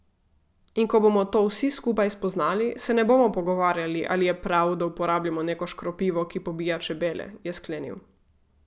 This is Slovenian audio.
In ko bomo to vsi skupaj spoznali, se ne bomo pogovarjali, ali je prav, da uporabljamo neko škropivo, ki pobija čebele, je sklenil.